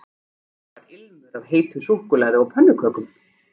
Það var ilmur af heitu súkkulaði og pönnukökum